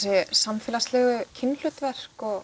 samfélagslegu kynhlutverk og